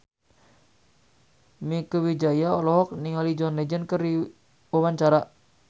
Mieke Wijaya olohok ningali John Legend keur diwawancara